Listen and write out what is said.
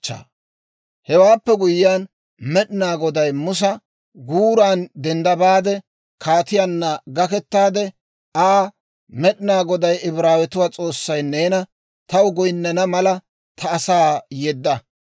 Hewaappe guyyiyaan Med'inaa Goday Musa, «Guuran dendda baade, kaatiyaanna gakettaade Aa, ‹Med'inaa Goday, Ibraawetuwaa S'oossay neena, «Taw goynnana mala ta asaa yedda.